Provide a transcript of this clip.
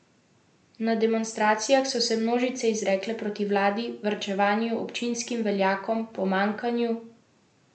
Na demonstracijah so se množice izrekale proti vladi, varčevanju, občinskim veljakom, pomanjkanju demokracije in pravne države.